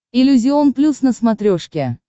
иллюзион плюс на смотрешке